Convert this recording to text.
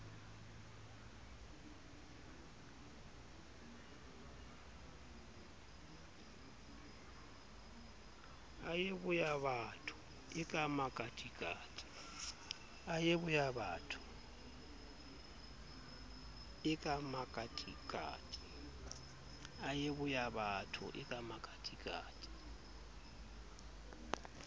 a ye boyabatho eka makatikati